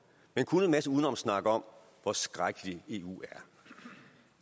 men kun en masse udenomssnak om hvor skrækkelig eu er